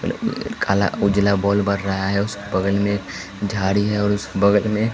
काला उजला बल्ब बर रहा है उसके बगल में झाड़ी हैं और उसके बगल में--